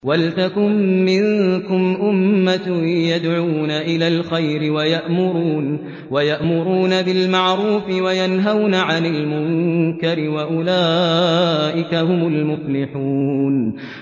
وَلْتَكُن مِّنكُمْ أُمَّةٌ يَدْعُونَ إِلَى الْخَيْرِ وَيَأْمُرُونَ بِالْمَعْرُوفِ وَيَنْهَوْنَ عَنِ الْمُنكَرِ ۚ وَأُولَٰئِكَ هُمُ الْمُفْلِحُونَ